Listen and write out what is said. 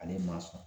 Ale ma sɔn